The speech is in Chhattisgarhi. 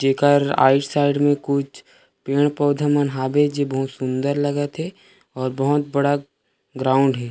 जेकर आइड साइड में कुछ पेड़-पौधा मन हावे जे बहुत सुन्दर लगत हे और बहोत बड़ा ग्राउंड हे।